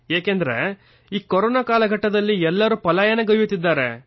ಏಕೆಂದರೆ ಈ ಕೊರೊನಾ ಕಾಲಘಟ್ಟದಲ್ಲಿ ಎಲ್ಲರೂ ಪಲಾಯನಗೈಯ್ಯುತ್ತಿದ್ದಾರೆ